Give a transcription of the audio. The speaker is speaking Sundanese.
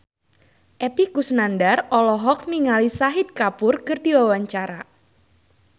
Epy Kusnandar olohok ningali Shahid Kapoor keur diwawancara